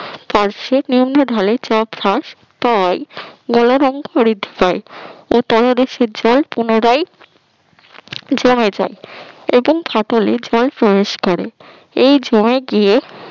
পার্শ্বে নিম্ন ঢলে চাপ হ্রাস হয় তাই গলনাঙ্ক পুনরায় জমে যায় এবং ফটোলে জল প্রবেশ করে এই জল গিয়ে